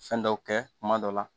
Fɛn dɔw kɛ kuma dɔ la